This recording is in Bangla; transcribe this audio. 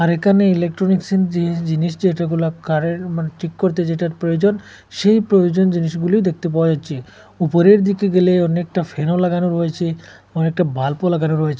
এখানে ইলেকট্রনিক্স -এর জি জিনিস যেটা গুলা কার -এর মানে ঠিক করতে যেটার প্রয়োজন সেই প্রয়োজন জিনিসগুলি দেখতে পাওয়া যাচ্চে উপরের দিকে গেলে অনেকটা ফ্যান -ও লাগানো রয়েচে অনেকটা বাল্প -ও লাগানো রয়েচে।